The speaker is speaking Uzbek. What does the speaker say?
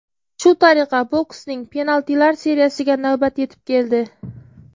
Shu tariqa boksning penaltilar seriyasiga navbat yetib keldi.